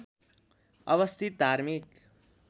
अवस्थित धार्मिक